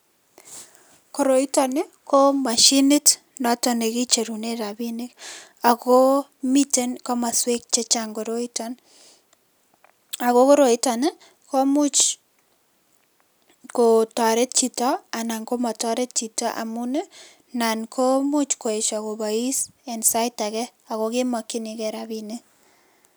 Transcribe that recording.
Koroitoni, ko mashinit notok ne kicherune rabinik . Ako, miten komaswek chechang' koroiton, ako koroitoni, ko imuch kotaret chito, anan ko mataret chito, amun nan ko imuch koesho kobois en sait age, akoge makchininke rabinik